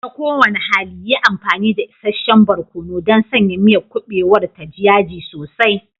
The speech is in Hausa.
Ta kowane hali, yi amfani da isasshen barkono don sanya miyar kuɓewar ta ji yaji sosai.